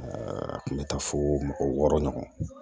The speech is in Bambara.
a kun bɛ taa fo mɔgɔ wɔɔrɔ ɲɔgɔn